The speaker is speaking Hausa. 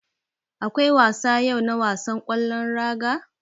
Akwai wasa yau na wasan ƙwallon raga.